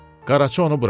Qaraçı onu buraxdı.